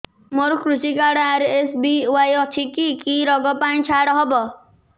ମୋର କୃଷି card RSBY ଅଛି କି କି ଋଗ ପାଇଁ ଛାଡ଼ ହବ